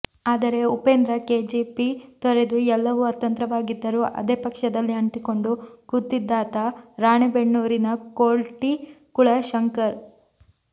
ಆದರೆ ಉಪೇಂದ್ರ ಕೆಜೆಪಿ ತೊರೆದು ಎಲ್ಲವೂ ಅತಂತ್ರವಾಗಿದ್ದರೂ ಅದೇ ಪಕ್ಷದಲ್ಲಿ ಅಂಟಿಕೊಂಡು ಕೂತಿದ್ದಾತ ರಾಣೆಬೆನ್ನೂರಿನ ಕೋಟಿ ಕುಳ ಶಂಕರ್